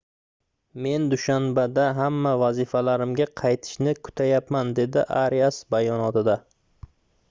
men dushanbada hamma vazifalarimga qaytishni kutyapman - dedi arias bayonotida